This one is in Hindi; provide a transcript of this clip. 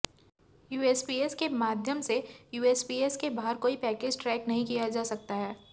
यूएसपीएस के माध्यम से यूएसपीएस के बाहर कोई पैकेज ट्रैक नहीं किया जा सकता है